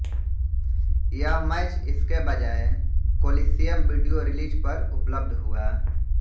यह मैच इसके बजाए कोलीसियम वीडियो रिलीज पर उपलब्ध हुआ